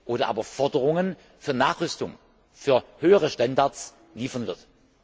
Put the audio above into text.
oder aber Forderungen für Nachrüstung, für höhere Standards liefern wird.